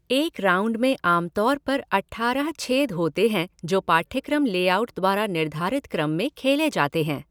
एक 'राउंड' में आमतौर पर अट्ठारह छेद होते हैं जो पाठ्यक्रम लेआउट द्वारा निर्धारित क्रम में खेले जाते हैं।